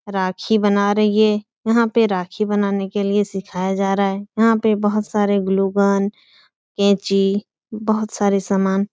राखी बना रही है। यहाँ पे राखी बनाने के लिए सिखाया जा रहा है। यहाँ पे बोहोत सारे ग्लूगन कैंची बोहोत सारे सामान --